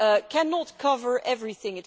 cannot cover everything.